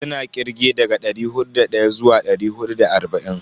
Suna kirge daga dari hudu da daya zuwa dari hudu da arba'in.